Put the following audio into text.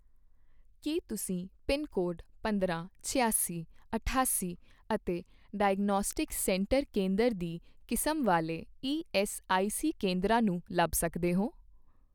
ਕੀ ਤੁਸੀਂ pin code ਪੰਦਰਾਂ, ਛਿਆਸੀ, ਅਠਾਸੀ ਅਤੇ ਡਾਇਗਨੌਸਟਿਕਸ ਸੈਂਟਰ ਕੇਂਦਰ ਦੀ ਕਿਸਮ ਵਾਲੇ ਈਐੱਸਆਈਸੀ ਕੇਂਦਰਾਂ ਨੂੰ ਲੱਭ ਸਕਦੇ ਹੋ?